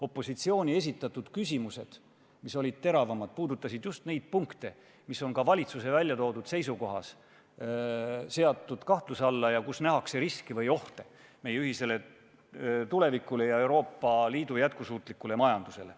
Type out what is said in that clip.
Opositsiooni esitatud küsimused, mis olid teravamad, puudutasid just neid punkte, mis on ka valitsuse seisukohas seatud kahtluse alla ja milles nähakse riski või ohte meie ühisele tulevikule ja Euroopa Liidu jätkusuutlikule majandusele.